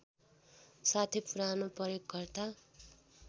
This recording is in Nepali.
साथै पुरानो प्रयोगकर्ता